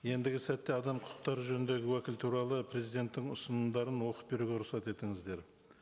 ендігі сәтте адам құқықтары жөніндегі уәкіл туралы президенттің ұсынымдарын оқып беруге рұқсат етіңіздер